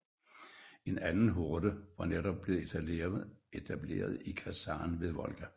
En anden horde var netop blevet etableret i Kazan ved Volga